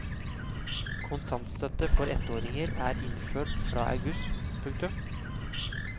Kontantstøtte for ettåringer er innført fra august. punktum